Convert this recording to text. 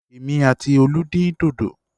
Èmi àti Olú dín dòdò.